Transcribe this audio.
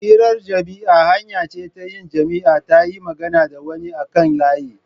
Hirar jima'i hanya ce ta yin jima'i ta yin magana da wani a kan layi.